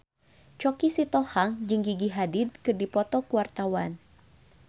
Choky Sitohang jeung Gigi Hadid keur dipoto ku wartawan